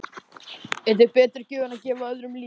Er til betri gjöf en að gefa öðrum líf?